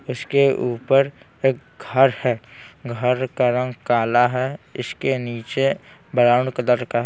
उसके ऊपर एक घर हैं घर का रंग काला हैं इसके नीचे ब्राउन कलर का--